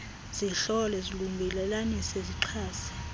zihlole zilungelelanise zixhase